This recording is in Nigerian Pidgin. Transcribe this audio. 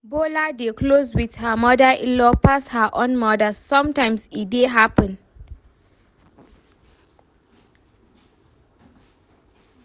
Bola dey close with her mother inlaw pass her own mother, sometimes e dey happen